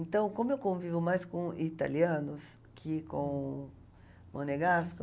Então, como eu convivo mais com italianos que com Monegasco...